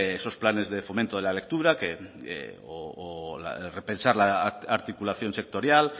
esos planes de fomento de la lectura o repensar la articulación sectorial